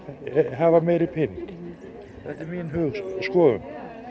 hafa meiri pening það er mín skoðun